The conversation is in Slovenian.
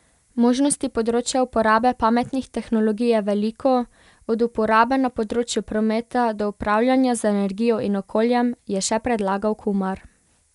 Možnosti področja uporabe pametnih tehnologij je veliko, od uporabe na področju prometa do upravljanja z energijo in okoljem, je še predlagal Kumar.